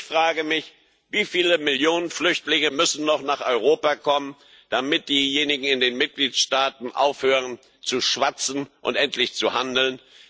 Ich frage mich Wie viele Millionen Flüchtlinge müssen noch nach Europa kommen, damit diejenigen in den Mitgliedstaaten aufhören zu schwatzen und endlich handeln?